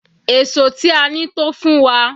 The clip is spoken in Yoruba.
Èṣó tí a ní tó fún wa.